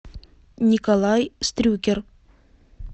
николай стрюкер